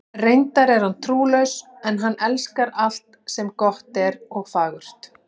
Reyndar er hann trúlaus, en hann elskar alt sem gott er og fagurt.